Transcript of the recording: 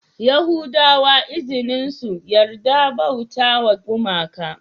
Yahudawa izinin su yarda bautawa gumaka